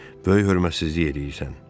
Böyük hörmətsizlik eləyirsən.